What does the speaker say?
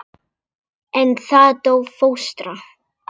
En þá dó fóstra.